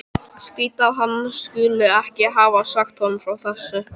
Skrýtið að hann skuli ekki hafa sagt honum frá þessu.